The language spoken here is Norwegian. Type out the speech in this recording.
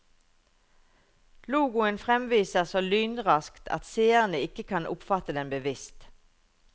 Logoen fremvises så lynraskt at seerne ikke kan oppfatte den bevisst.